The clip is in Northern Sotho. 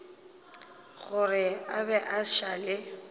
gore a be a šale